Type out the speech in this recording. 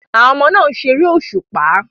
Àwọn ọmọ náà ń ṣeré òṣùpá